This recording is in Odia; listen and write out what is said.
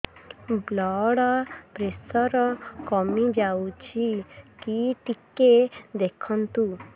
ବ୍ଲଡ଼ ପ୍ରେସର କମି ଯାଉଛି କି ଟିକେ ଦେଖନ୍ତୁ